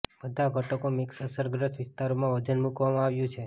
બધા ઘટકો મિક્સ અસરગ્રસ્ત વિસ્તારોમાં વજન મૂકવામાં આવ્યું છે